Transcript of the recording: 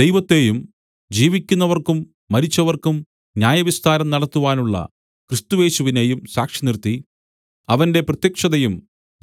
ദൈവത്തെയും ജീവിക്കുന്നവർക്കും മരിച്ചവർക്കും ന്യായവിസ്താരം നടത്തുവാനുള്ള ക്രിസ്തുയേശുവിനെയും സാക്ഷിനിർത്തി അവന്റെ പ്രത്യക്ഷതയും